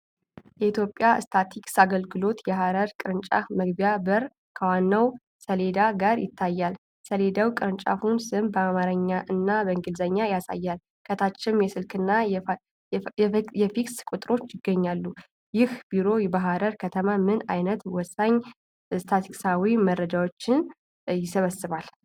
የኢትዮጵያ ስታቲስቲክስ አገልግሎት የሐረር ቅርንጫፍ መግቢያ በር ከዋናው ሰሌዳ ጋር ይታያል። ሰሌዳው የቅርንጫፉን ስም በአማርኛና በእንግሊዝኛ ያሳያል፤ ከታችም የስልክና የፋክስ ቁጥሮች ይገኛሉ። ይህ ቢሮ በሐረር ከተማ ምን አይነት ወሳኝ ስታትስቲካዊ መረጃዎችን ይሰበስባል?